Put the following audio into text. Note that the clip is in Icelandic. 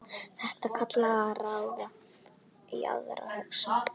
Þetta kallar á aðra hugsun.